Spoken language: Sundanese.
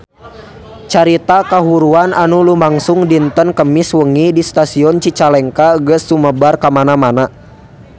Carita kahuruan anu lumangsung dinten Kemis wengi di Stasiun Cicalengka geus sumebar kamana-mana